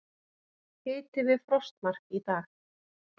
Hiti við frostmark í dag